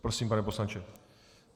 Prosím, pane poslanče.